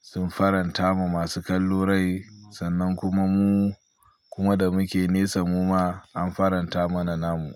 sun faranta ma masu kallo rai sannan kuma mu, kuma da muke nesa mu ma an faranta mana namu.